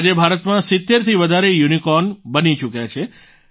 આજે ભારતમાં 70 થી વધારે યુનિકોર્ન બની ચૂક્યા છે